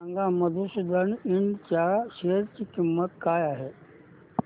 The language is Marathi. सांगा मधुसूदन इंड च्या शेअर ची किंमत काय आहे